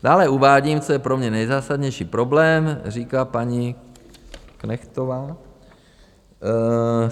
Dále uvádím, co je pro mě nejzásadnější problém, říká paní Knechtová.